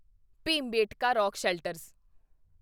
Bhimbetka rock shelters